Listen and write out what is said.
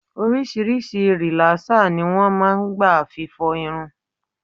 Oríṣiríṣi rìlásér ni wọn máa ń gba fi fọ irun.